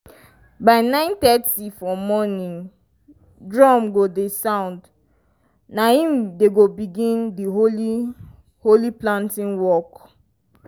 by nine thirty for morning drum go dey sound na im dem go begin di holy holy planting walk.